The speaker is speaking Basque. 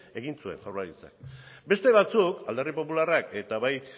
egin zuen jaurlaritzak beste batzuk alderdi popularrak eta bai